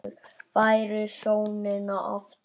Færð sjónina aftur.